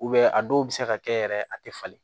a dɔw bɛ se ka kɛ yɛrɛ a tɛ falen